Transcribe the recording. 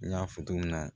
N y'a fɔ cogo min na